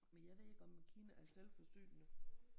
Men jeg ved ikke om Kina er selvforsynende